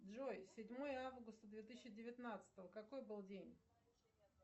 джой седьмое августа две тысячи девятнадцатого какой был день